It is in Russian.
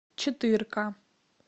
четырка